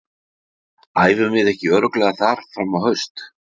Æfum við ekki örugglega þar fram á haust?